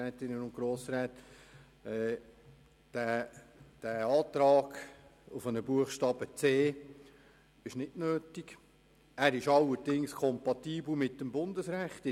Der beantragte Artikel 104 Absatz 1 Buchstabe c (neu) ist nicht nötig, ein solcher Buchstabe wäre allerdings mit dem Bundesrecht kompatibel.